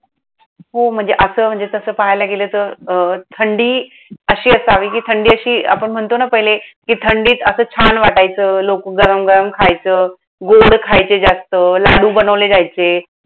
हो म्हणजे असं म्हणजे तसं पाहायला गेलं तर अं थंडी अशी असावी कि थंडी अशी, आपण म्हणतो ना पेहले कि थंडीत असं छान वाटायचं, लोकं गरम गरम खायचं. गोड खायचे जास्त, लाडू बनवले जायचे.